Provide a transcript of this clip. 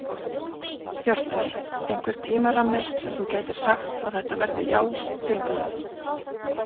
Hjörtur: Einhver tímarammi sem að þú gætir sagt að þetta verði já tilbúið?